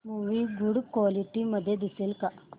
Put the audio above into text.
movie good quality मध्ये दिसेल का